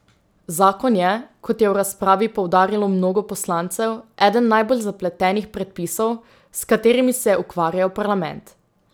Zakon je, kot je v razpravi poudarilo mnogo poslancev, eden najbolj zapletenih predpisov, s katerimi se je ukvarjal parlament.